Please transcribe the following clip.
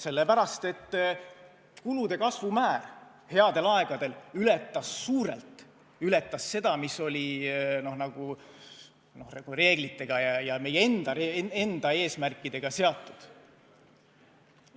Sellepärast, et kulude kasvu määr headel aegadel ületas suurelt seda, mis oli reeglitega ja meie enda eesmärkidega seatud.